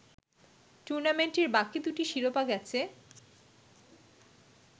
টুর্নামেন্টটির বাকি দুটি শিরোপা গেছে